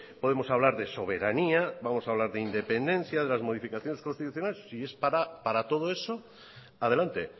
podemos hablar de soberanía vamos a hablar de independencia de las modificaciones constitucionales si es para todo eso adelante